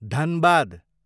Dhanbad